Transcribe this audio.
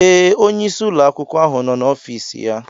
Ee, onyeisi ụlọ akwụkwọ ahụ nọ na ofis ya.